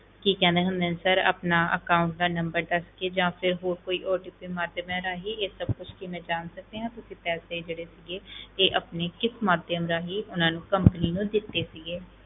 ਕੀ ਕਹਿੰਦੇ ਹੁੰਦੇ ਨੇ sir ਆਪਣਾ account ਦਾ number ਦੱਸ ਕੇ ਜਾਂ ਫਿਰ ਹੋਰ ਕੋਈ OTP ਮਾਧਿਅਮ ਦੇ ਰਾਹੀਂ ਇਹ ਸਭ ਕੁਛ ਕੀ ਮੈਂ ਜਾਣ ਸਕਦੀ ਹਾਂ, ਤੁਸੀਂ ਪੈਸੇ ਜਿਹੜੇ ਸੀਗੇ ਇਹ ਆਪਣੇ ਕਿਸ ਮਾਧਿਅਮ ਰਾਹੀਂ ਉਹਨਾਂ ਨੂੰ company ਨੂੰ ਦਿੱਤੇ ਸੀਗੇ